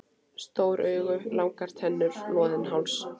Stór augu, langar tennur, loðinn háls.